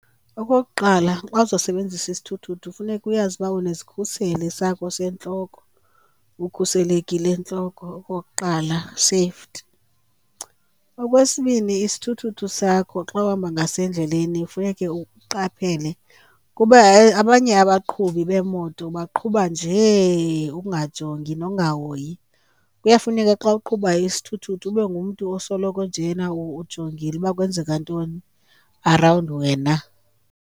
Okokuqala, xa uzosebenzisa isithuthuthu funeka uyazi uba unezikhuseli sakho sentloko, ukhuselekile entloko okokuqala, safety. Okwesibini, isithuthuthu sakho xa uhamba ngaso endleleni funeke uqaphele kuba abanye abaqhubi bemoto baqhuba nje ukungajongi nokungahoyi. Kuyafuneka xa uqhubayo isithuthuthu ube ngumntu osoloko njena ujongile uba kwenzeka ntoni arawundi wena.